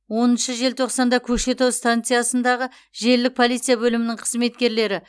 оныншы желтоқсанда көкшетау станциясындағы желілік полиция бөлімінің қызметкерлері